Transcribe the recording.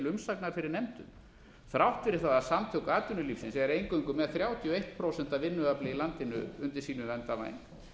umsagnar fyrir nefndum þrátt fyrir það að samtök atvinnulífsins eru eingöngu með þrjátíu og eitt prósent af vinnuafli í landinu undir sínum verndarvæng